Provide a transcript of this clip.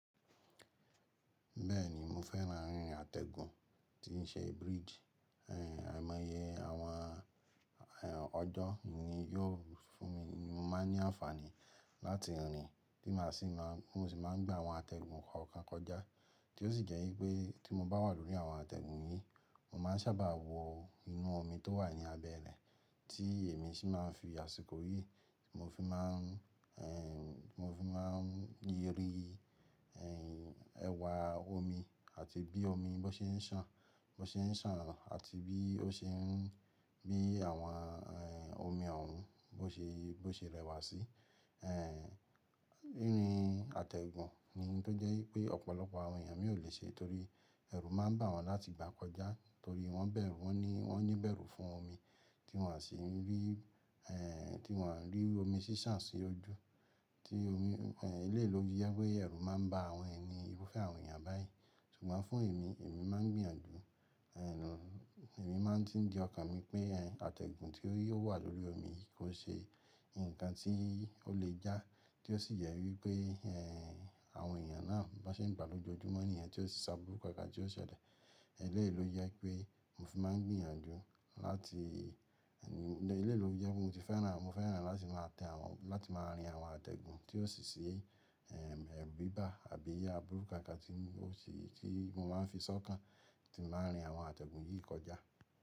Bẹ́ẹ̀ni, mo fẹ́ràn rìn àtẹ̀gùn tí ń ṣe bridge. À ẹ̀mọ́yẹ àwọn ọjọ́ ni yóò fún mi ní, mo máa ní àǹfààní láti rìn tí màá sì má, mo sì máa gbá àwọn àtẹ̀gùn kọ̀ọ̀kan kọjá. Tí ó sì jẹ́ wípé tí mo bá wà lórí àwọn àtẹ̀gùn yìí, mo máa ń sábà wọ inú omi tó wà ní abẹ́ rẹ̀ tí èmi sì máa ń fi àsìkò yí. Mo fi má ń, mo fi má ń yẹrí ẹwà omi àti bí omi bá ṣe ń sàn, bá ṣe ń sàn àti bí ó ṣe ń, bí àwọn omi òòrùn bó ṣe, bó ṣe rẹwà sí. Rìn àtẹ̀gùn ni tó jẹ́ wípé ọ̀pọ̀lọpọ̀ àwọn èèyàn mi ò lè ṣe torí ẹrù máa ń bà wọ́n láti gbà kọjá torí wọ́n bẹ̀rù, wọ́n ní, wọ́n ní bẹ̀rù fún omi tí wọ́n à sì ń rí, tí wọ́n à ń rí omi ṣí ṣàn sí ojú. Tí omi, eléyìí ló fì jẹ wìpé ẹrù máa ń ba àwọn ẹni, irúfẹ́ àwọn èèyàn báyìí. Ṣùgbọ́n fún èmi, èmi máa ń gbìyànjú, èmi máa ń tí ń di ọkàn mi pé àtẹ̀gùn tí ó wà lórí omi kò ṣe nǹkan tí ó lè já. Tí ó sì yẹ wípé àwọn èyàn náà bó ṣe ń gba lójoojúmọ́ níyén tí ó sì ṣáàbúrú kọ̀ọ̀kan tí ó ṣẹlẹ̀. Eléyìí ló jẹ pé mo fi máa ń gbìyànjú láti, eléyìí ló fi jẹ pé mo sé fẹ́ràn, mo fẹ́ràn láti máa tẹ àwọn, láti máa rìn àwọn àtẹ̀gùn tí ó ṣì ṣì bíbà àbí àbúrú kankan tí ó ṣì, tí mo máa ń fi ṣọ́kàn tí n báa rìn àwọn àtẹ̀gùn yìí kọjá.